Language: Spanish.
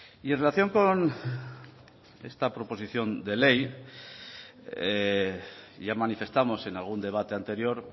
y en relación con esta proposición de ley ya manifestamos en algún debate anterior